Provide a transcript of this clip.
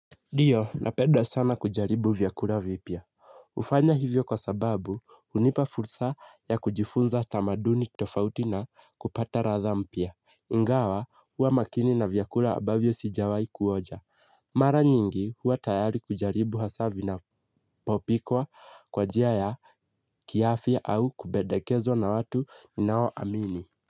Ndio napeda sana kujaribu vyakula vipya. Hufanya hivyo kwa sababu hunipa fursa ya kujifunza tamaduni tofauti na kupata ladha mpya. Ingawa huwa makini na vyakula ambavyo sijawai kuonja. Mara nyingi huwa tayari kujaribu hasa vinapopikwa kwa njia ya kiafya au kupendekezwa na watu ninao amini.